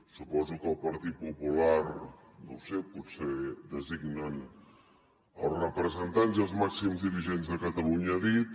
suposo que el partit popular no ho sé potser designen els representants i els màxims dirigents de catalunya a dit